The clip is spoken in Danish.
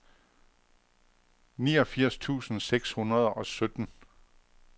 niogfirs tusind seks hundrede og sytten